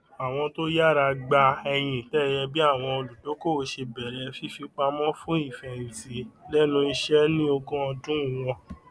àwọn to yára gba ẹyin ìtẹẹyẹ bí àwọn olùdókòwò ṣe bẹrẹ fífipamọ fún ìfẹhìntì lẹnu iṣẹ ní ogún ọdún wọn